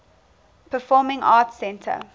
performing arts center